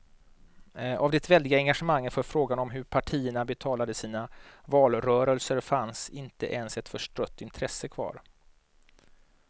Av det väldiga engagemanget för frågan om hur partierna betalade sina valrörelser fanns inte ens ett förstrött intresse kvar.